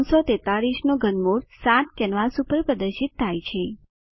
343 નું ઘનમૂળ 7 કેનવાસ ઉપર પ્રદર્શિત થાય છે